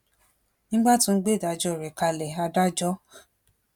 nígbà tó ń gbé ìdájọ rẹ kalẹ adájọ h